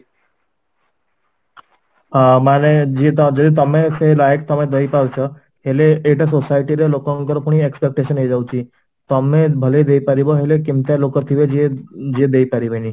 ହଁ, ମାନେ ଯେ ତ ଯେ ତମେ ସେ ଲାୟକ ତମେ ଦେଇ ପାରୁଛ ହେଲେ society ରେ ଲୋକଙ୍କର ପୁଣି expectations ହେଇଯାଉଛି, ତମେ ଦେଇ ପାରିବ ହେଲେ କେମତିଆ ଲୋକ ଥିବେ ଯିଏ ଯିଏ ଦେଇ ପାରିବେନି